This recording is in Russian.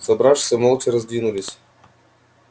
собравшиеся молча раздвинулись